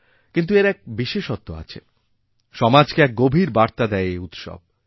কিন্তু এরএক বিশেষত্ব আছে সমাজকে এক গভীর বার্তা দেয় এই উৎসব